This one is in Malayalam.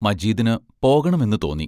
മജീദിന് പോകണമെന്ന് തോന്നി.